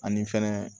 Ani fɛnɛ